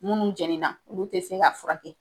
Minnu jɛnina olu tɛ se ka furakɛ